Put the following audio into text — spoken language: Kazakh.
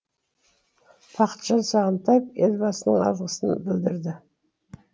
бақытжан сағынтаев елбасына алғысын білдірді